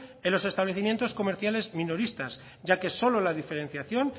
en los establecimientos comerciales minoristas ya que solo la diferenciación